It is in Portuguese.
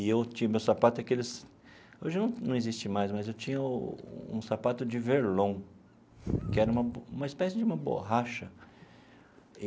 E eu tinha meu sapato daqueles... Hoje não não existe mais, mas eu tinha um sapato de verlon, que era uma uma espécie de uma borracha.